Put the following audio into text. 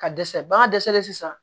Ka dɛsɛ bagan dɛsɛlen sisan